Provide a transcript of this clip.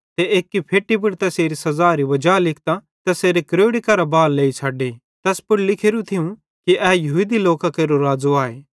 ते एक्की फेट्टी पुड़ तैसेरी सज़ारी वजा लिखतां तैसेरे क्रोड़ी केरां बां लेइ छ़ड्डी तैस मां लिखोरू थियूं कि ए यहूदी लोकां केरो राज़ो आए